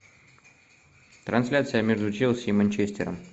трансляция между челси и манчестером